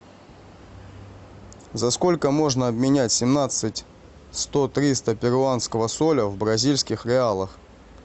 за сколько можно обменять семнадцать сто триста перуанского соля в бразильских реалах